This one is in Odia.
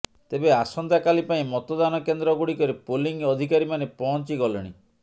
ତେବେ ଆସନ୍ତାକାଲି ପାଇଁ ମତଦାନ କେନ୍ଦ୍ର ଗୁଡିକରେ ପୋଲିଂ ଅଧିକାରୀମାନେ ପହଁଚି ଗଲେଣି